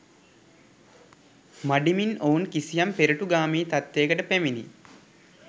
මඬිමින් ඔවුන් කිසියම් පෙරටුගාමී තත්ත්වයකට පැමිණී